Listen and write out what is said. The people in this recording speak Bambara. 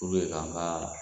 U